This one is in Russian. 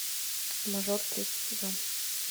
мажор третий сезон